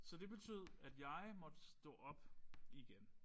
Så det betød at jeg måtte stå op igen